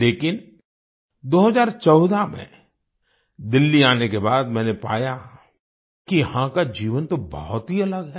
लेकिन 2014 में दिल्ली आने के बाद मैंने पाया कि यहाँ का जीवन तो बहुत ही अलग है